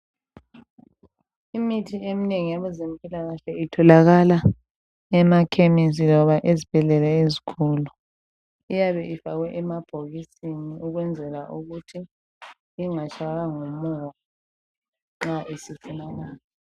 Imithi eminengi yabezempilakahle itholakala emakhemesi loba ezibhedlela ezinkulu. Iyabe ifakwe emabhokisini okwenzela ukuthi ingatshaywa ngumoya nxa isifunakala